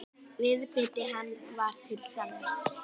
Viðbiti hann var til sanns.